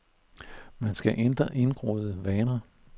Man skal ændre indgroede vaner.